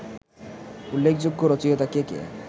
উল্লেখযোগ্য রচিয়তা কে কে